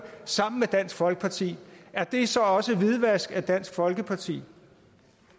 sammen med dansk folkeparti er det så også hvidvaskning af dansk folkeparti